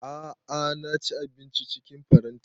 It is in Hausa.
A'a na ci abinci cikin faranti